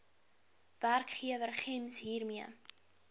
werkgewer gems hiermee